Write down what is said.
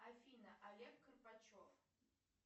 афина олег карпачев